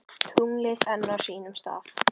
Tunglið enn á sínum stað.